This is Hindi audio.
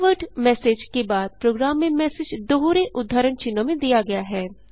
कीवर्ड मेसेज के बाद प्रोग्राम में मैसेज दोहरे उद्धरण चिन्हों में दिया गया है